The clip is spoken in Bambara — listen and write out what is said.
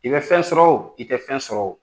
I bɛ fɛn sɔrɔ o i tɛ fɛn sɔrɔ o